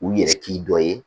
U yɛrɛ k'i dɔ ye